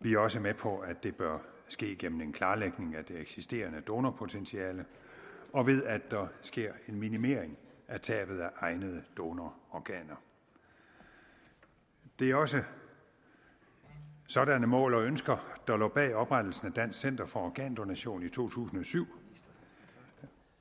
vi er også med på at det bør ske gennem en klarlægning af det eksisterende donorpotentiale og ved at der sker en minimering af tabet af egnede donororganer det er også sådanne mål og ønsker der lå bag oprettelsen af dansk center for organdonation i to tusind og syv